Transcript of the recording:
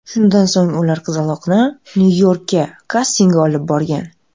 Shundan so‘ng ular qizaloqni Nyu-Yorkka kastingga olib borgan.